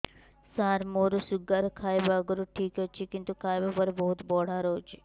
ସାର ମୋର ଶୁଗାର ଖାଇବା ଆଗରୁ ଠିକ ଅଛି କିନ୍ତୁ ଖାଇବା ପରେ ବହୁତ ବଢ଼ା ରହୁଛି